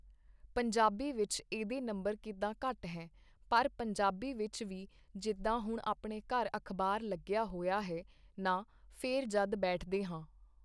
ਪੰਜਾਬੀ ਵਿੱਚ ਇਹਦੇ ਨੰਬਰ ਕਿੱਦਾਂ ਘੱਟ ਹੈ ਪਰ ਪੰਜਾਬੀ ਵਿੱਚ ਵੀ ਜਿੱਦਾਂ ਹੁਣ ਆਪਣੇ ਘਰ ਅਖ਼ਬਾਰ ਲੱਗਿਆ ਹੋਇਆ ਹੈ ਨਾ ਫੇਰ ਜਦ ਬੈਠਦੇ ਹਾਂ